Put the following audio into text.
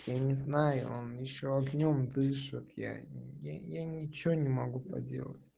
я не знаю он ещё огнём дышит я я не ничего не могу поделать